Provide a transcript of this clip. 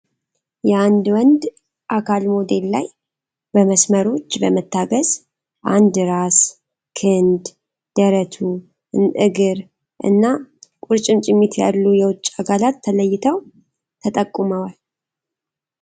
የአንድ ወንድ አካል ሞዴል ላይ በመስመሮች በመታገዝ እንደ ራስ ፣ ክንድ ፣ ደረቱ ፣ እግር እና ቁርጭምጭሚት ያሉ የውጭ አካላት ተለይተው ተጠቁመዋል።